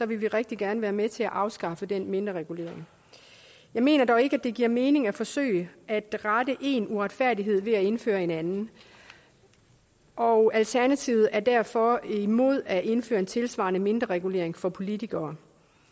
vi rigtig gerne være med til at afskaffe den mindreregulering jeg mener dog ikke det giver mening at forsøge at rette en uretfærdighed ved at indføre en anden og alternativet er derfor imod at indføre en tilsvarende mindreregulering for politikere